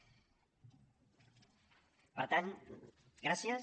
per tant gràcies